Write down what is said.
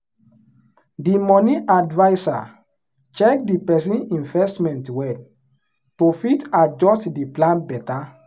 the money adviser check the person investment well to fit adjust the plan better.